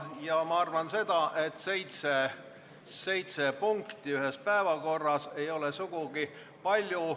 Ja ma arvan, et seitse punkti ühel päeval ei ole sugugi palju.